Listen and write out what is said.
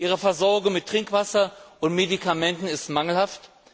Ihre Versorgung mit Trinkwasser und Medikamenten ist mangelhaft.